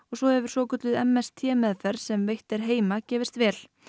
svo hefur svokölluð m s t meðferð sem veitt er heima gefist vel